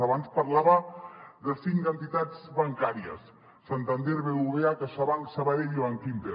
abans parlava de cinc entitats bancàries santander bbva caixabank sabadell i bankinter